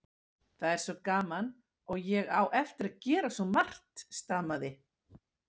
Það er svo gaman og ég á eftir að gera svo margt. stamaði